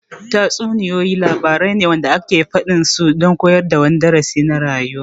Tatsuniyoyi labarai wanda ake faɗin su don koyar da wani darasi na rayuwa